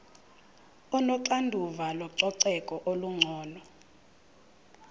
onoxanduva lococeko olungcono